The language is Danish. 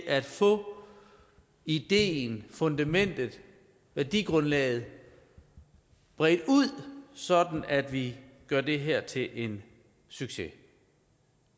at få ideen fundamentet værdigrundlaget bredt ud sådan at vi gør det her til en succes